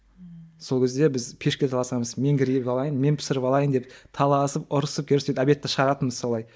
ммм сол кезде біз пешке таласамыз мен кіріп алайын мен пісіріп алайын деп таласып ұрысып керісіп обедті шығаратынбыз солай